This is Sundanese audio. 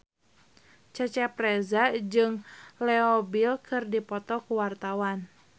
Cecep Reza jeung Leo Bill keur dipoto ku wartawan